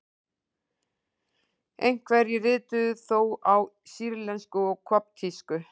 Einhverjir rituðu þó á sýrlensku og koptísku.